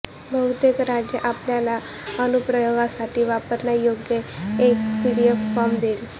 बहुतेक राज्ये आपल्याला अनुप्रयोगासाठी वापरण्यायोग्य एक पीडीएफ फॉर्म देईल